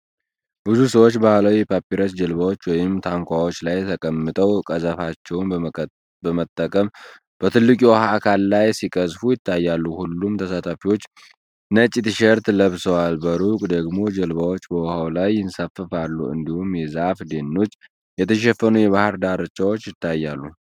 ብዙ ሰዎች ባህላዊ የፓፒረስ ጀልባዎች ወይም ታንኳዎች ላይ ተቀምጠው ቀዘፋዎችን በመጠቀም በትልቁ የውሃ አካል ላይ ሲቀዝፉ ይታያሉ። ሁሉም ተሳታፊዎች ነጭ ቲሸርቶች ለብሰዋል። በሩቅ ደግሞ ጀልባዎች በውሃው ላይ ይንሳፈፋሉ፣ እንዲሁም የዛፍ ደኖች የተሸፈኑ የባህር ዳርቻዎች ይታያሉ።